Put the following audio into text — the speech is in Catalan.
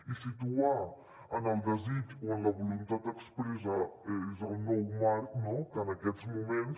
i situar en el desig o en la voluntat expressa és el nou marc que en aquests moments